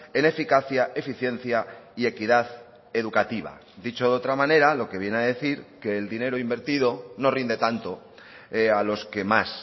en eficacia eficiencia y equidad educativa dicho de otra manera lo que viene a decir que el dinero invertido no rinde tanto a los que más